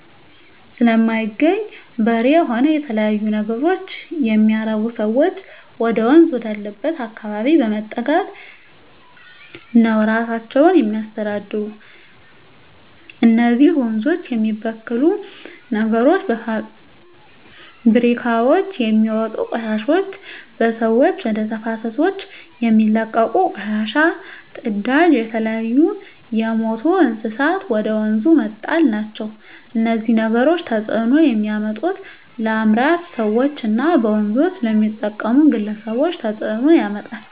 ስለማይገኝ በሬ ሆነ የተለያዩ ነገሮች የሚያረቡ ሰዎች ወደወንዝ ወዳለበት አካባቢ በመጠጋት ነው እራሳቸውን የሚያስተዳድሩ እነዚህ ወንዞች የሚበክሉ ነገሮች በፋብሪካውች የሚወጡ ቆሻሾች በሰዎች ወደ ተፋሰሶች የሚለቀቁ ቆሻሻ ጽዳጅ የተለያዩ የምቱ እንስሳትን ወደ ወንዙ መጣል ናቸው እነዚህ ነገሮች ተጽዕኖ የሚያመጡት ለአምራች ሰዎች እና በወንዞች ለሚጠቀሙ ግለሰቦች ተጽእኖ ያመጣል